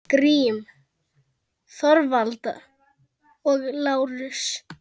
Grím, Þorvald og Lárus.